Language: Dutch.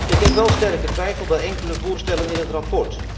Ik heb wel sterke twijfel bij enkele voorstellen in het verslag.